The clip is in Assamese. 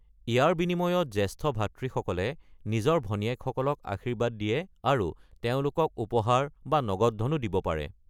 ইয়াৰ বিনিময়ত জ্যেষ্ঠ ভাতৃসকলে নিজৰ ভনীয়েকসকলক আশীৰ্বাদ দিয়ে আৰু তেওঁলোকক উপহাৰ বা নগদ ধনো দিব পাৰে।